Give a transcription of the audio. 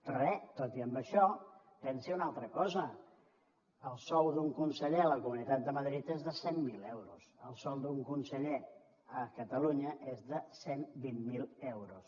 però bé tot i això pensi una altra cosa el sou d’un conseller a la comunitat de madrid és de cent mil euros el sou d’un conseller a catalunya és de cent i vint miler euros